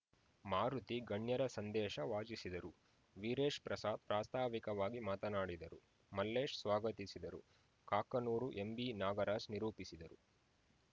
ಮಾರುತಿ ಗಣ್ಯರ ಸಂದೇಶ ವಾಚಿಸಿದರು ವೀರೇಶ್‌ ಪ್ರಸಾದ್‌ ಪ್ರಾಸ್ತಾವಿಕವಾಗಿ ಮಾತನಾಡಿದರು ಮಲ್ಲೇಶ್‌ ಸ್ವಾಗತಿಸಿದರು ಕಾಕನೂರು ಎಂಬಿನಾಗರಾಜ್‌ ನಿರೂಪಿಸಿದರು